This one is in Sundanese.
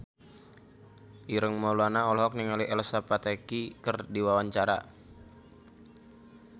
Ireng Maulana olohok ningali Elsa Pataky keur diwawancara